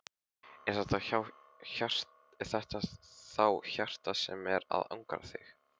Er þetta þá hjartað sem er að angra hana?